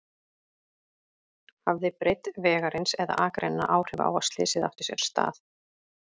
Hafði breidd vegarins eða akreinanna áhrif á að slysið átti sér stað?